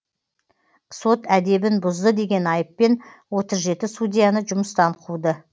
сот әдебін бұзды деген айыппен отыз жеті судьяны жүмыстан қуды